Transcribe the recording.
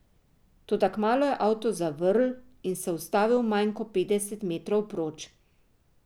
Toda kmalu je avto zavrl in se ustavil manj kot petdeset metrov proč.